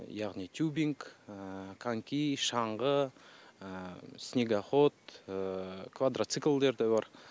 яғни тюбинг коньки шаңғы снегоход квадроциклдер де бар